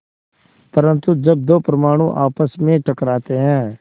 परन्तु जब दो परमाणु आपस में टकराते हैं